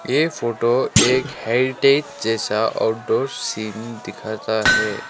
ये फोटो एक हेरिटेज जैसा आउटडोर सीन दिखाता है।